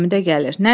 Həmidə gəlir.